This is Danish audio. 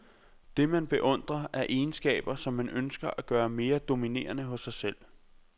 Det, man beundrer, er egenskaber, som man ønsker at gøre mere dominerende hos sig selv.